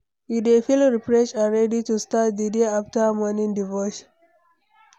You dey feel refreshed and ready to start di day after morning devotion?